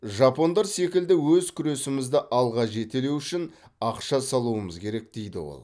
жапондар секілді өз күресімізді алға жетелеу үшін ақша салуымыз керек дейді ол